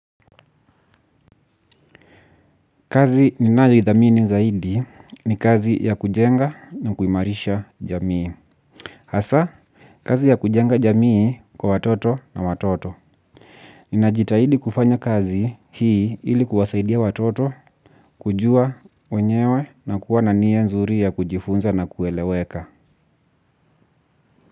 Kazi ninayo idhamini zaidi ni kazi ya kujenga na kuimarisha jamii. Hasa, kazi ya kujenga jamii kwa watoto na watoto. Ninajitahidi kufanya kazi hii ili kuwasaidia watoto kujua wenyewe na kuwa na nia nzuri ya kujifunza na kueleweka.